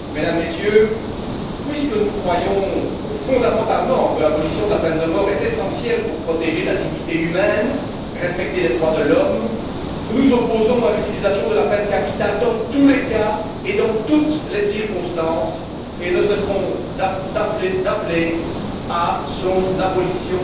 Mesdames, Messieurs, puisque nous croyons fondamentalement que l'abolition de la peine de mort est essentielle pour protéger la dignité humaine et respecter les droits de l'homme, nous nous opposons à l'utilisation de la peine capitale dans tous les cas et dans toutes les circonstances et ne cesserons d'appeler à son abolition